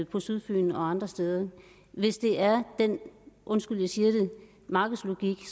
på sydfyn og andre steder hvis det er den undskyld jeg siger det markedslogik